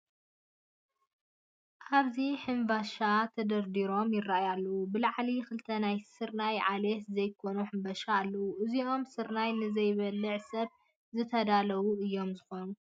ኣብዚ ሕምቫሻ ተደርዲሮም ይርአዩ ኣለዉ፡፡ ብላዕሊ ክልተ ናይ ስርናይ ዓሌት ዘይኮኑ ሕንበሻ ኣለዉ፡፡ እዚኦም ስርናይ ንዘይበልዕ ሰብ ዝተዳለዉ እዮም ዝኾኑ፡፡